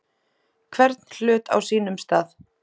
Hvern hlut á sínum stað.